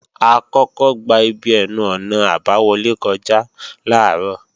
A kọ́kọ́ gba ibi ẹnu-ọ̀nà àbáwọlé kọjá làárọ̀